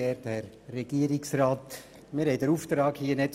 Debatte möglichst kurz zu halten.